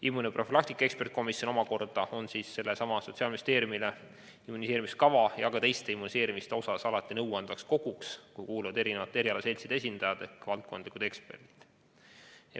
Immunoprofülaktika eksperdikomisjon omakorda on Sotsiaalministeeriumile sellesama immuniseerimiskava ja ka teiste immuniseerimiskavade osas alati nõuandvaks koguks, kuhu kuuluvad mitmesuguste erialaseltside esindajad ehk valdkondlikud eksperdid.